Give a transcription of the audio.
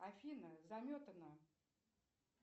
афина заметано